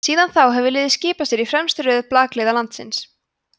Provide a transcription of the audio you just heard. síðan þá hefur liðið skipað sér í fremstu röð blakliða landsins